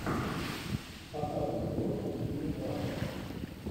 показывай киношку в стиле драма